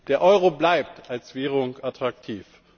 Der Euro bleibt als Währung attraktiv.